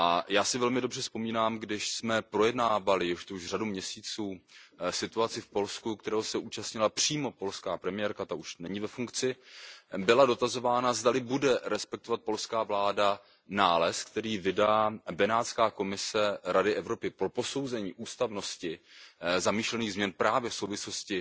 Já si velmi dobře vzpomínám, když jsme projednávali, je to už řada měsíců, situaci v Polsku, které se účastnila přímo polská premiérka, ta už není ve funkci, byla dotazována, zdali bude respektovat polská vláda nález, který vydá Benátská komise Rady Evropy pro posouzení ústavnosti zamýšlených změn právě v souvislosti